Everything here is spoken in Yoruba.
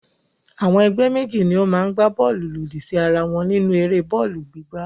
Àwọn ẹgbẹ́ méjì ni ó máa gbá bọ́ọ́lù lòdì síra wọn nínú eré bọ́ọ́lù gbígbá.